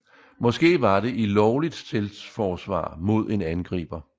Måske var det i lovligt selvforsvar mod en angriber